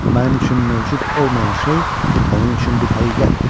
Mənim üçün mövcud olmayan şey onun üçün bir həqiqətdir.